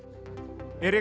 Erik